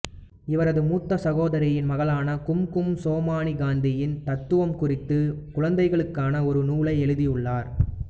இவரது மூத்த சகோதரியின் மகளான கும்கும் சோமானி காந்தியின் தத்துவம் குறித்து குழந்தைகளுக்கான ஒரு நூலை எழுதியுள்ளார்